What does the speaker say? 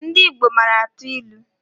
Ndị Igbo mara atụ ilu